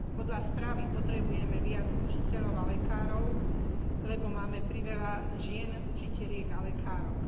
Podľa správy potrebujeme viac učiteľov a lekárov, lebo máme priveľa žien učiteliek a lekárok.